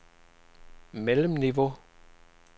mellemniveau